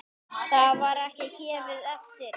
Það var ekki gefið eftir.